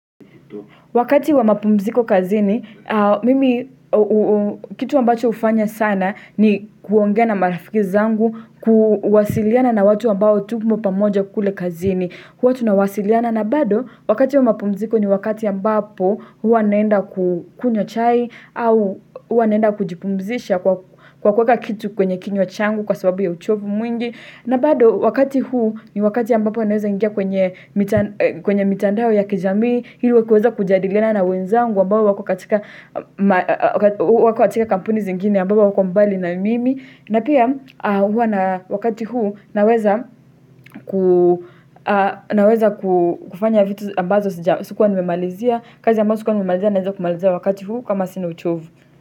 Wakati wa mapumziko kazini, mimi kitu ambacho hufanya sana ni kuongea na marafiki zangu kuwasiliana na watu ambao tumo pamoja kule kazini. Huwa tunawasiliana na bado wakati wa mapumziko ni wakati ambapo huwa naenda kukunywa chai au huwa naenda kujipumzisha kwa kuweka kitu kwenye kinywa changu kwa sababu ya uchovu mwingi. Na bado wakati huu ni wakati ambapo naweza ingia kwenye mitandao ya kijami, ili kuweza kujadiliana na wenzangu ambao wako katika kampuni zingine ambapo wako mbali na mimi. Na pia wakati huu naweza kufanya vitu ambazo sikuwa nimemalizia, kazi ambazo sikuwa nimemalizia naweza kumalizia wakati huu kama sinu uchovu.